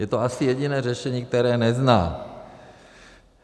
Je to asi jediné řešení, které nezná .